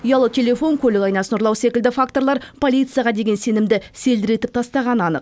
ұялы телефон көлік айнасын ұрлау секілді факторлар полицияға деген сенімді селдіретіп тастағаны анық